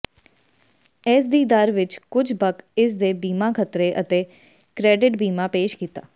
ਇਸ ਦੀ ਦਰ ਵਿਚ ਕੁਝ ਬਕ ਇਸ ਦੇ ਬੀਮਾ ਖਤਰੇ ਅਤੇ ਕ੍ਰੈਡਿਟ ਬੀਮਾ ਪੇਸ਼ ਕੀਤਾ